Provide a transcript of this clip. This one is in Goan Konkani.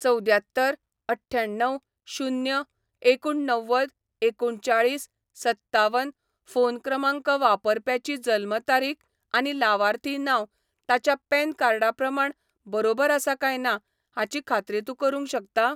चवद्यात्तर अठ्ठ्याण्णव शून्य एकुण्णव्वद एकुणचाळीस सत्तावन फोन क्रमांक वापरप्याची जल्म तारीख आनी लावार्थी नांव ताच्या पॅन कार्डा प्रमाण बरोबर आसा काय ना हाची खात्री तूं करूंक शकता?